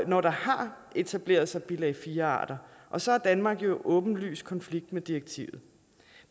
når der har etableret sig bilag iv arter og så er danmark jo i åbenlys konflikt med direktivet